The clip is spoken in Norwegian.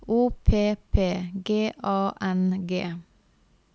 O P P G A N G